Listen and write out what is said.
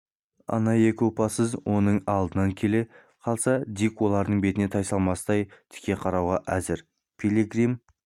ана екі опасыз оның алдына келе қалса дик олардың бетіне тайсалмастан тіке қарауға әзір пилигрим